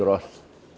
Grosso.